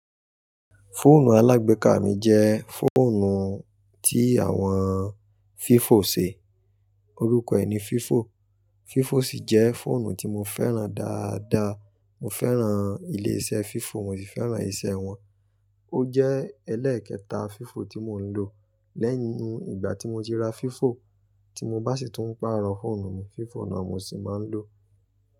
Fóònù alágbéka mi jẹ́ fóònù tí àwọn vivo ṣe, orúkọ èní vivo. Vivo sì jẹ́ fóònù tí mo fẹ́ràn dáadáa, mo fẹ́ràn ilé iṣẹ́ vivo, mo sì fẹ́ràn iṣẹ́ wọn. Ó jẹ́ ẹlẹ́ẹ̀kẹta Fifo tí mò ń lò. Lẹ́yìn ìgbà tí mo ti ra vivo tí mo bá sì tún pàrọ̀ fóònù mi, vivo náà mo sì máa ń lò.